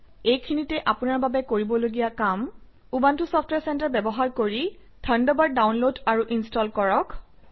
এইখিনিতে আপোনাৰ বাবে কৰিবলগীয়া কাম - উবুণ্টু চফট্ৱেৰ চেণ্টাৰ ব্যৱহাৰ কৰি থাণ্ডাৰবাৰ্ড ডাউনলোড আৰু ইনষ্টল কৰক